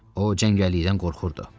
O, cəngəllikdən qorxurdu.